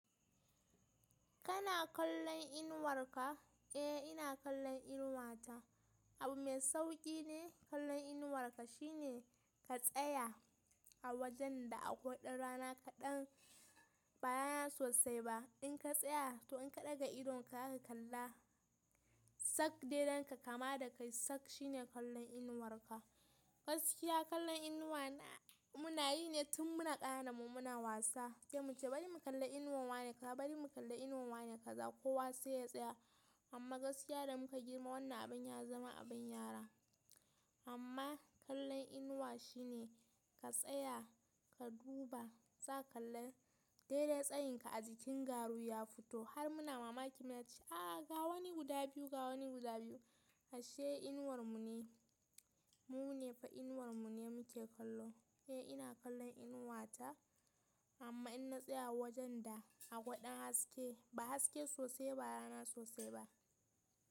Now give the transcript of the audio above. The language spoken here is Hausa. Kana kallon inuwarka? Eh ina kallon inuwata. Abu mai sauƙi ne, kallon inuwarka shine ka tsaya a wajen da akwai ɗan rana kaɗan, ba rana sosai ba. In ka tsaya, to in ka ɗaga idon ka aka kalla, sak daidai da ka kama da kai, sak shine kallon inuwarka. Gaskiya kallon inuwa muna yi ne tun muna ƙanana muna wasa, sai mu ce bari mu kalla inuwa wane, ka bari mu kalla inuwa wane kaza, kowa sai ya tsaya. Amma gaskiya da muka girma wannan abin ya zama abin yara. Amma kallon inuwa shine ka tsaya, ka duba, za ka kalla daidai tsayinka a jikin garu ya fito. Har muna mamaki muna ce “a ga wani guda biyu, ga wani guda biyu.” Ashe inuwar mu ne, mu ne fa inuwar mu ne muke kallo. Eh ina kallon inuwata amma in na tsaya a wajen da akwai ɗan haske, ba haske sosai ba, ba rana sosai ba.